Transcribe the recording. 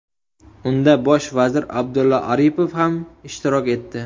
Unda bosh vazir Abdulla Aripov ham ishtirok etdi.